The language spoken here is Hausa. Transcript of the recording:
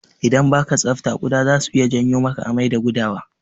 Idan baka tsafta kuɗa zasu iya janyo maka amai da gudawa.